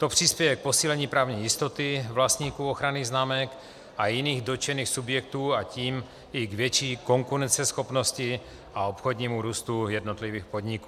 To přispěje k posílení právní jistoty vlastníků ochranných známek a jiných dotčených subjektů, a tím i k větší konkurenceschopnosti a obchodnímu růstu jednotlivých podniků.